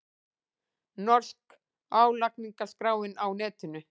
Norska álagningarskráin á netinu